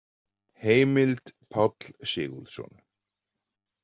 Heimild Páll Sigurðsson.